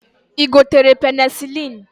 I gotere penicilin?